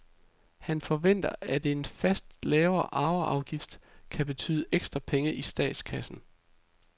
Han forventer at en fast lavere arveafgift kan betyde ekstra penge i statskassen.